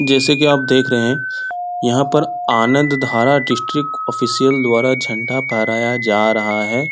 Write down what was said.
जैसे की आप देख रहें हैं यहाँ पर आनंदधारा डिस्ट्रिक्ट ऑफिसियल द्वारा झंडा फहराया जा रहा है ।